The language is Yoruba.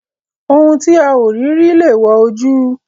Ohun tí a ò rí rí lèèwọ̀ ojú.